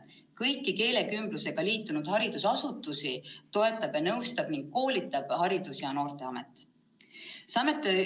Kõiki keelekümblusega liitunud haridusasutusi toetab ja nõustab ning koolitab Haridus- ja Noorteamet.